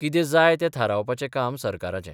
कितें जाय तें थारावपाचें काम सरकाराचें.